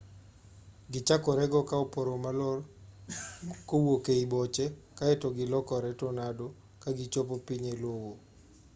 gichakore go ka oporo malor kowuok ei boche kaeto gilokore tornado ka gichopo piny e lowo